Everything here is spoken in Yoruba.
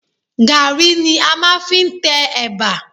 Gàrí ni a máa fi ń tẹ ẹ̀bà